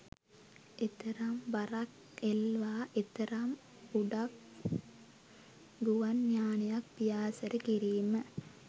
එතරම් බරක් එල්වා එතරම් උඩක් ගුවන් යානයක් පියාසර කිරීම